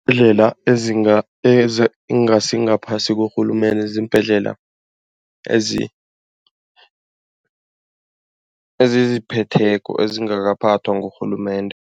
Iimbhedlela ezingasingaphasi korhulumende ziimbhedlela eziziphetheko ezingangakaphathwa ngurhulumende.